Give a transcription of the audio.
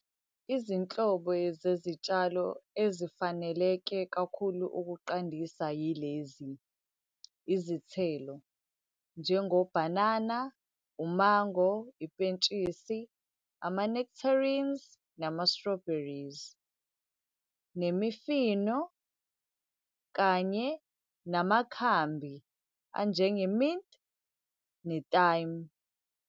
Izinhlobo zezitshalo ezifaneleke kakhulu ukuqandisa yilezi, izithelo, njengobhanana, umango, ipentshisi, ama-nectarines, nama-strawberries. Nemifino, kanye namakhambi, anjenge-mint ne-thime.